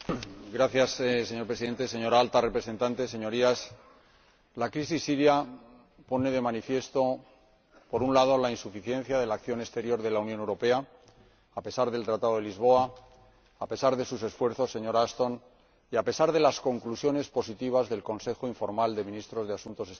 Señor Presidente, señora Alta Representante, Señorías, la crisis siria pone de manifiesto, por un lado, la insuficiencia de la acción exterior de la Unión Europea, a pesar del Tratado de Lisboa, a pesar de sus esfuerzos, señora Ashton, y a pesar de las conclusiones positivas del Consejo informal de Ministros de Asuntos Exteriores de Vilna